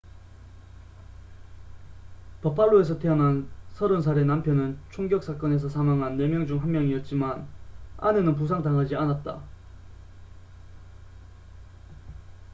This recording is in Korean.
버팔로에서 태어난 30살의 남편은 총격 사건에서 사망한 4명 중 한 명이었지만 아내는 부상당하지 않았다